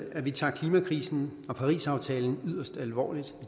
at vi tager klimakrisen og parisaftalen yderst alvorligt